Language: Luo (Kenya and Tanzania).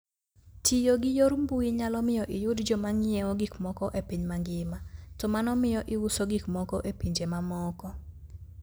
Tiyo gi yor mbui nyalo miyo iyud joma ng'iewo gik moko e piny mangima, to mano miyo iuso gik moko e pinje mamoko.